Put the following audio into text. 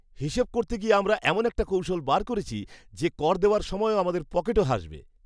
হিসাব করতে গিয়ে আমরা এমন একটা কৌশল বের করেছি যে কর দেওয়ার সময়ও আমাদের পকেটও হাসবে!